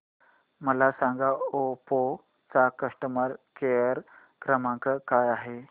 मला सांगा ओप्पो चा कस्टमर केअर क्रमांक काय आहे